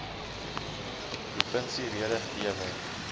provinsie rede lewer